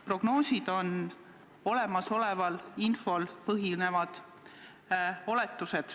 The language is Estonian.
Prognoosid on olemasoleval infol põhinevad oletused.